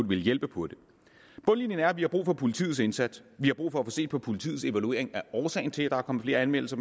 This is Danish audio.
ville hjælpe på det bundlinjen er at vi har brug for politiets indsats vi har brug for at få set på politiets evaluering af årsagen til at der er kommet flere anmeldelser